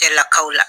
Cɛlakaw la